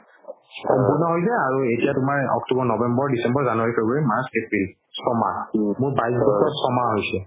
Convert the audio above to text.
সম্পূৰ্ণ হ'ল যে আৰু এতিয়া তুমাৰ october, november, december, january, february march, april মোৰ বাইছ বছৰ চহ মাহ হৈছে